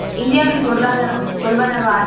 இந்தியாவின் பொருளாதாரம் கொள்வன